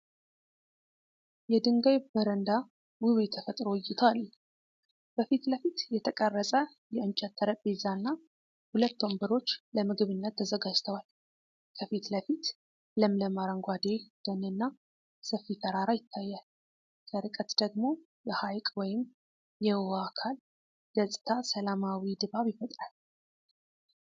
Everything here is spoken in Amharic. የድንጋይ በረንዳ ውብ የተፈጥሮ እይታ አለው። በፊት ለፊት የተቀረጸ የእንጨት ጠረጴዛና ሁለት ወንበሮች ለምግብነት ተዘጋጅተዋል። ከፊት ለፊት ለምለም አረንጓዴ ደንና ሰፊ ተራራ ይታያል። ከርቀት ደግሞ የሐይቅ ወይም የውሃ አካል ገጽታው ሰላማዊ ድባብ ይፈጥራል።